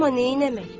Amma neynəmək?